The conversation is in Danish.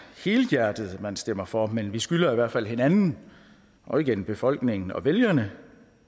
helhjertet at man stemmer for men vi skylder i hvert fald hinanden og igen befolkningen og vælgerne